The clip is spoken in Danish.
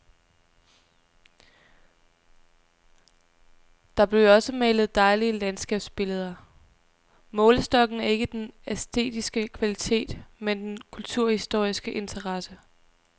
Der blev jo også malet dejlige landskabsbilleder. Målestokken er ikke den æstetiske kvalitet, men den kulturhistoriske interesse.